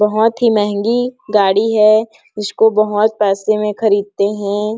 बोहोत ही महंगी गाड़ी है इसको बोहोत पैसे में खरीदते हैं।